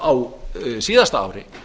á síðasta ári